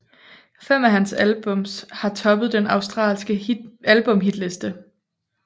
Fem af hans albums har toppet den australske albumhitliste